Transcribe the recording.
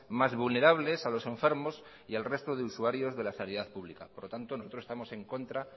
más vulnerables a los enfermos y al resto de usuarios de la sanidad pública por lo tanto nosotros estamos en contra